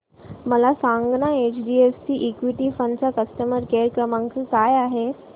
मला सांगाना HDFC equity fund चा कस्टमर केअर क्रमांक काय आहे